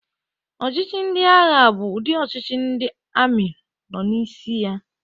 Ọchịchị ndị agha bụ ụdị ọchịchị ndị amị nọ n'isi ya.